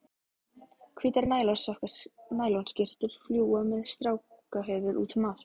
Hvítar nælonskyrtur fljúga með strákahöfuð útum allt.